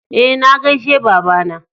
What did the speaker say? E, na gaishe baba na.